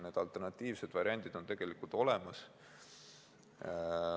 Need alternatiivsed variandid on tegelikult olemas.